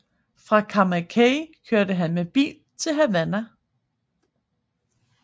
Fra Camaguey kørte han med bil til Havana